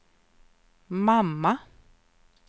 mamma